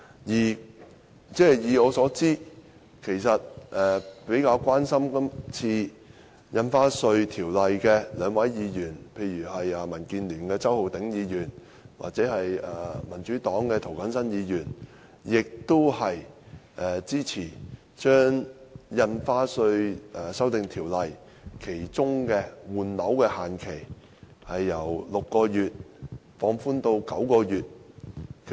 據我所知，較關心《條例草案》的兩位議員，即民建聯的周浩鼎議員及民主黨的涂謹申議員，均支持把《條例草案》中的換樓退稅限期由6個月放寬至9個月。